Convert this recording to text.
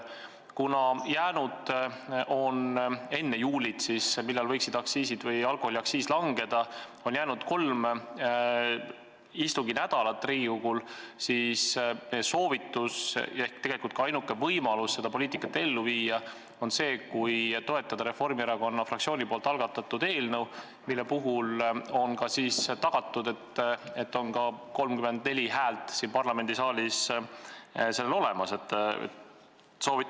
Kuna enne juulit, kui alkoholiaktsiis võiks langeda, on Riigikogul jäänud kolm istunginädalat, siis meie soovitus on ja tegelikult ka ainuke võimalus seda poliitikat ellu viia on see, kui toetada Reformierakonna fraktsiooni algatatud eelnõu, mille puhul on tagatud, et on 34 häält siin parlamendisaalis olemas.